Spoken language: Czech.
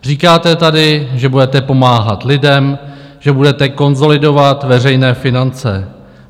Říkáte tady, že budete pomáhat lidem, že budete konsolidovat veřejné finance.